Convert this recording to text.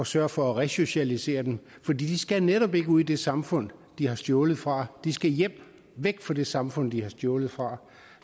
sørge for at resocialisere dem fordi de skal netop ikke ud i det samfund de har stjålet fra de skal hjem væk fra det samfund de har stjålet fra